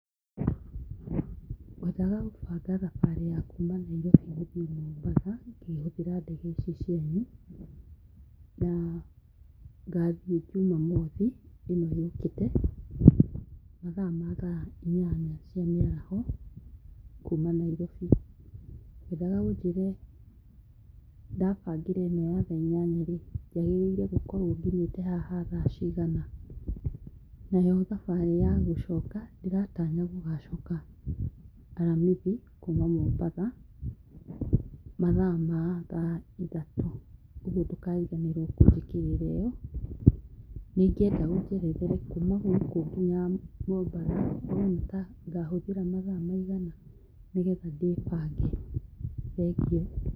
Ngwendaga gũbanga thabarĩ ya kuma Nairobi gũthiĩ Mombatha, ngĩhũthĩra ndege icio cianyu, na ngathiĩ jumamothi, ĩno yũkĩte, mathaa ma thaa inyanya cia mĩaraho, kuma Nairobi. Ngwendaga ũnjĩre ndabangĩra ĩno ya thaa inyanya-rĩ, njagĩrĩirwo gũkorwo nginyĩte haha thaa cigana. Nayo thabarĩ ya gũcoka, ndĩratanya gũgacoka aramithi, kuma mũmbatha, mathaa ma thaa ithatu, ũguo ndũkariganĩrwo kũnjĩkĩrĩra ĩyo. Nĩingĩenda ũnjerethere kuma gũkũ nginya mũmbatha ngahũthĩra mathaa maigana nĩgetha ndĩbange. Thengiũ.